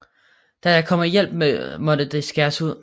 Da der kom hjælp måtte de skæres ud